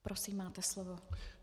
Prosím, máte slovo.